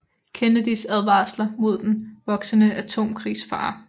Kennedys advarsler mod den voksende atomkrigsfare